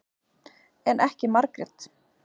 En ekki Margrét.